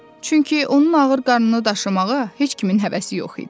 Çünki onun ağır qarnını daşımağa heç kimin həvəsi yox idi.